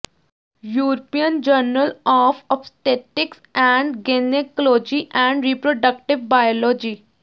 European journal of obstetrics and gynecology and reproductive biology